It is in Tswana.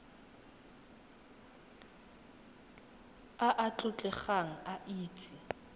a a tlotlegang a itse